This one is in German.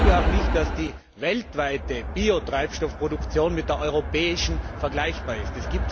Ich glaube auch nicht, dass die weltweite Biotreibstoffproduktion mit der europäischen vergleichbar ist.